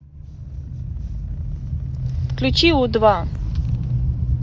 включи у два